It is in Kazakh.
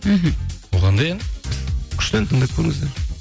мхм ол қандай ән күшті ән тыңдап көріңіздер